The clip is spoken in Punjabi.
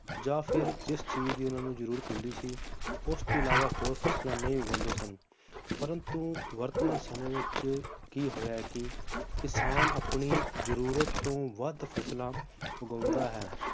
ਜਾਂ ਫਿਰ ਜਿਸ ਚੀਜ਼ ਦੀ ਉਹਨਾਂ ਨੂੰ ਜਰੂਰਤ ਹੁੰਦੀ ਸੀ ਉਸ ਤੋਂ ਅਲਾਵਾ ਹੋਰ ਫਸਲਾਂ ਨਹੀਂ ਉਗਾਉਂਦੇ ਸਨ ਪ੍ਰੰਤੂ ਵਰਤਮਾਨ ਸਮੇ ਵਿਚ ਕੀ ਹੋਇਆ ਹੈ ਕੀ ਕਿਸਾਨ ਆਪਣੀ ਜਰੂਰਤ ਤੋਂ ਵੱਧ ਫਸਲਾਂ ਉਗਾਉਂਦਾ ਹੈ,